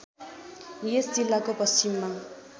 यस जिल्लाको पश्चिममा